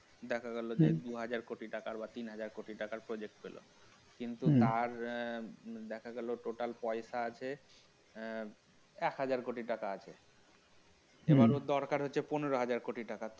দেখা গেল যে দু হাজার কোটি টাকা বা তিন হাজার কোটি টাকার project পেল কিন্তু তার আহ দেখা গেল total পয়সা আছে আহ এক হাজার কোটি টাকা আছে হম এবার ওর দরকার হচ্ছে পনেরো হাজার কোটি টাকা